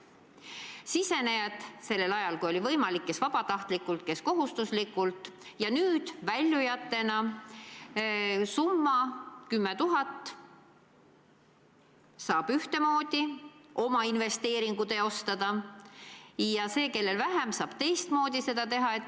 Sisenejad liitusid sambaga kes vabatahtlikult, kes kohustuslikult, ja nüüd, kui nad hakkavad väljuma, saavad nad summa korral kuni 10 000 eurot ühtemoodi oma investeeringu teostada ja need, kellel on rohkem, saavad seda teistmoodi teha.